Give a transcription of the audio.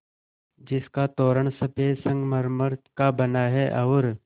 जिसका तोरण सफ़ेद संगमरमर का बना है और